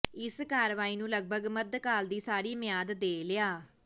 ਇਸ ਕਾਰਵਾਈ ਨੂੰ ਲਗਭਗ ਮੱਧਕਾਲ ਦੀ ਸਾਰੀ ਮਿਆਦ ਦੇ ਲਿਆ